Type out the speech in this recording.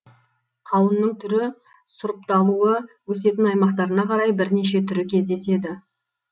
қауынның түрі сұрыпталуы өсетін аймақтарына қарай бірнеше түрі кездеседі